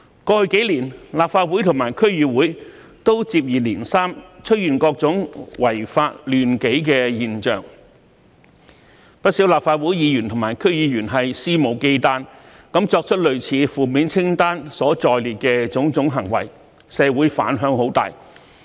過去數年，立法會和區議會均接二連三出現各種違法亂紀的現象，不少立法會議員和區議員肆無忌憚作出類似負面清單所載列的種種行為，在社會引起很大的反響。